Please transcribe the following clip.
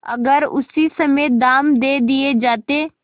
अगर उसी समय दाम दे दिये जाते